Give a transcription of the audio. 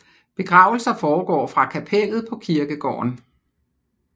Begravelser foregår fra kapellet på kirkegården